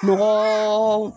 Mɔgɔɔ